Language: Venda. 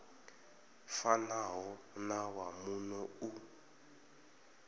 fanaho na wa muno u